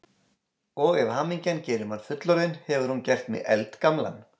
Og ef hamingjan gerir mann fullorðinn, hefur hún gert mig eldgamlan.